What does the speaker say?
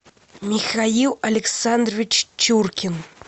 михаил александрович чуркин